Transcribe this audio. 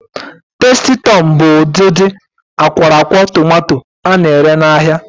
Tasti Tọm bụ ụdịdị akwọrọakwọ tomanto a na-ere n'ahia.